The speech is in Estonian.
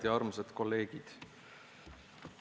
Head ja armsad kolleegid!